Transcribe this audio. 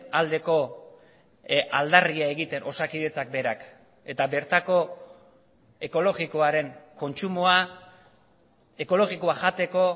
aldeko aldarria egiten osakidetzak berak eta bertako ekologikoaren kontsumoa ekologikoa jateko